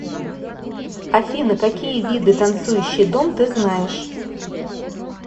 афина какие виды танцующий дом ты знаешь